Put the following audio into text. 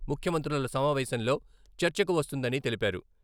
ముఖ్యమంత్రుల సమావేశంలో చర్చకు వస్తుందని తెలిపారు.